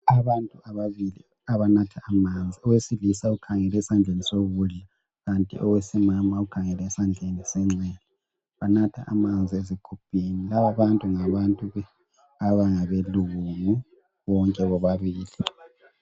Abantu ababili abanatha amanzi owesilisa ukhangele esandleni sokudla kanti owesimama ukhangele esandleni senxele banatha amanzi ezigubhini laba abantu ngabantu abangabelungu bonke bobabili.